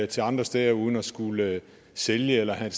til andre steder uden at skulle sælge eller have